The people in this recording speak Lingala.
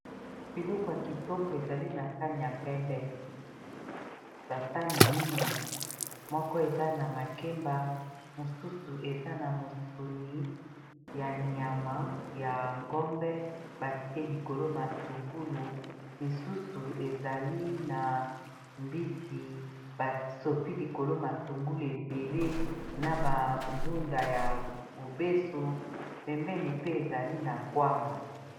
Biloko ya kitoko ezali na sane ya pembe basani mine moko eza na makemba mosusu eza na mosuni ya nyama ya ngombe batie likolo matungulu misusu ezali na mbisi basopi likolo matungulu ebele na bandunda ya mobeso pembeni pe ezali na kwanga.